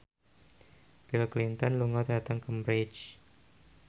Bill Clinton lunga dhateng Cambridge